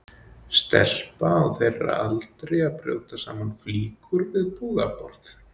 Stelpa á þeirra aldri að brjóta saman flíkur við búðarborð.